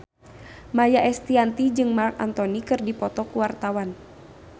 Maia Estianty jeung Marc Anthony keur dipoto ku wartawan